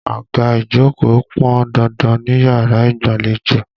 Àga ìjókòó pọn dandan níyàrá ìgbàlejò.